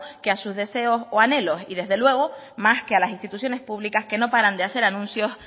que a sus deseos o anhelos y desde luego más que a las instituciones públicas que no paran de hacer anuncios